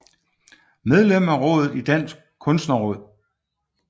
Medlem af rådet i Dansk Kunstnerråd